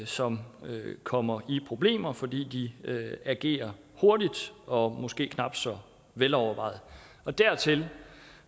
som kommer i problemer fordi de agerer hurtigt og måske knap så velovervejet dertil